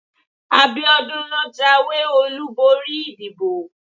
abiodun lo jawé olubori ìdíbò